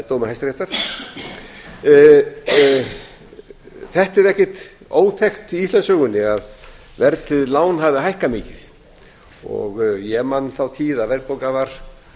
dómi hæstaréttar þetta er ekkert óþekkt í íslandssögunni að verðtryggð lán hafi hækkað mikið ég man þá tíð að verðbólgan var